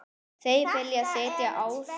Þau vilja sitja á þeim.